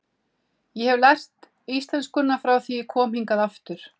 Ég hef lært íslenskuna frá því ég kom hingað aftur.